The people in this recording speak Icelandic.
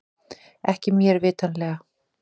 Ekki mér vitanlega